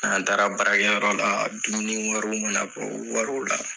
N'an taara baara kɛ yɔrɔ la, dumuni wariw mana bɔ wariw la